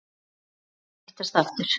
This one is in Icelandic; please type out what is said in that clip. Áætlað að hittast aftur?